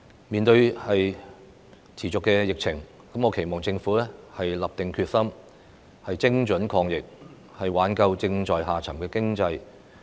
面對持續的疫情，我期望政府立定決心，精準抗疫，挽救正在下滑的經濟。